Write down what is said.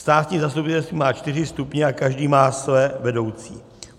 Státní zastupitelství má čtyři stupně a každý má svoje vedoucí.